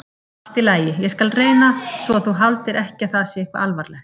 Allt í lagi, ég skal reyna svo þú haldir ekki að það sé eitthvað alvarlegt.